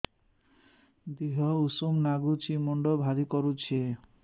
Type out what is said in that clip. ଦିହ ଉଷୁମ ନାଗୁଚି ମୁଣ୍ଡ ଭାରି କରୁଚି